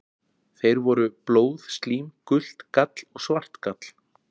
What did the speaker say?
Þeir voru: blóð, slím, gult gall og svart gall.